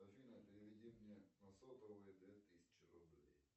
афина переведи мне на сотовый две тысячи рублей